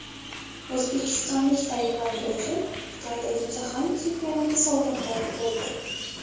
O‘zbekistonlik taekvondochi Xitoydagi jahon chempionati sovrindori bo‘ldi.